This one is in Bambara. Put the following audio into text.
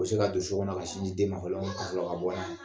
U bɛ se ka don so kɔnɔ ka sin ji den ma fɔlɔ ka sɔrɔ ka bɔ